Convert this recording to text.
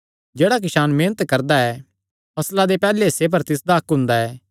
जेह्ड़ा किसान मेहनत करदा ऐ फसला दे पैहल्ले हिस्से पर तिसदा हक्क हुंदा ऐ